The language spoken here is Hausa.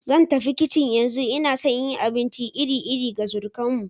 Zan tafi kicin yanzu, ina so in yi abinci iri-iri ga surukanmu.